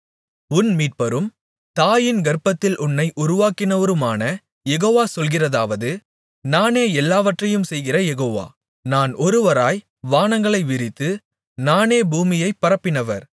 உன் மீட்பரும் தாயின் கர்ப்பத்தில் உன்னை உருவாக்கினவருமான யெகோவா சொல்கிறதாவது நானே எல்லாவற்றையும் செய்கிற யெகோவா நான் ஒருவராய் வானங்களை விரித்து நானே பூமியைப் பரப்பினவர்